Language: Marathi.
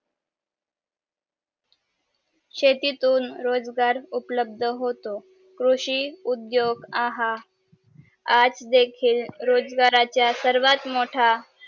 शेतीतुन रोजगार उपलब्ध होतो कृषी उदयोग आहा आज देखील रोजगाराचा सर्वात मोठा